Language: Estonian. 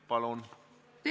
Palun!